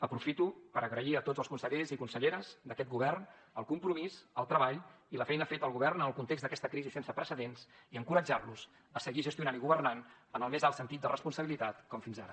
aprofito per agrair a tots els consellers i conselleres d’aquest govern el compromís el treball i la feina feta al govern en el context d’aquesta crisi sense precedents i encoratjar los a seguir gestionant i governant amb el més alt sentit de responsabilitat com fins ara